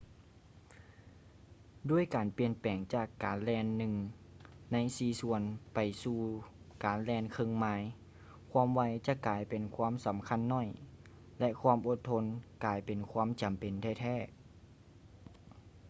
ດ້ວຍການປ່ຽນແປງຈາກການແລ່ນໜຶ່ງໃນສີ່ສ່ວນໄປສູ່ການແລ່ນເຄິ່ງໄມລ໌ ຄວາມໄວຈະກາຍເປັນຄວາມສຳຄັນໜ້ອຍ ແລະ ຄວາມອົດທົນກາຍເປັນຄວາມຈຳເປັນແທ້ໆ